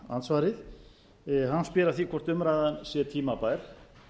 andsvarið hann spyr að því hvort umræðan sé tímabær